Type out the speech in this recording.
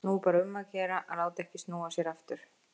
Nú er bara um að gera að láta ekki snúa sér aftur.